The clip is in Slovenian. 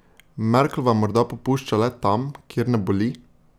Merklova morda popušča le tam, kjer ne boli?